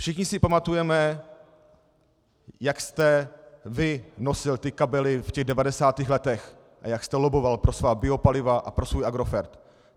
Všichni si pamatujeme, jak jste vy nosil ty kabely v těch 90. letech a jak jste lobboval pro svá biopaliva a pro svůj Agrofert.